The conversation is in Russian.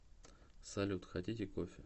салют хотите кофе